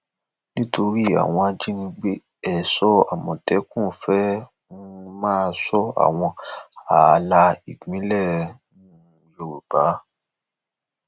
nítorí àwọn ajínigbé èso àmọtẹkùn fẹẹ um máa sọ àwọn ààlà ìpínlẹ um yorùbá